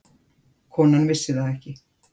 Konan vissi það ekki.